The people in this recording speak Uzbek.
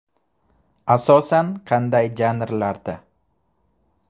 Asosan qanday janrlarda?